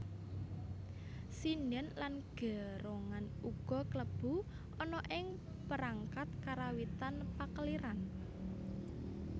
Sindhen lan gerongan uga klebu ana ing perangkat karawitan pakeliran